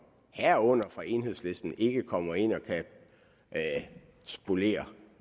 herunder fra enhedslisten ikke kan komme ind og spolere